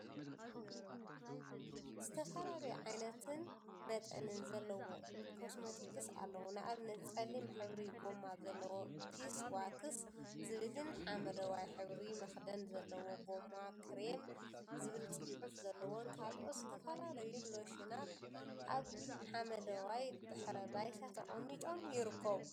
ዝተፈላለዩ ዓይነትን መጠንን ዘለዎም ኮስሞቲክስ አለው፡፡ ንአብነት ፀሊም ሕብሪ ጎማ ዘለዎ ቢስ ዋክስ ዝብልን ሓመደዋይ ሕብሪ መክደን ዘለዎ ጎማ ከሬም ዝብል ፅሑፍ ዘለዎን ካልኦት ዝተፈላለዩ ሎሽናትን አብ ሓመደዋይ ድሕረ ባይታ ተቀሚጦም ይርከቡ፡፡